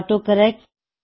auto correct